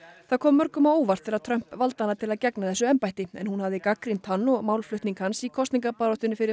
það kom mörgum á óvart þegar Trump valdi hana til að gegna þessu embætti en hún hafði gagnrýnt hann og málflutning hans í kosningabaráttunni fyrir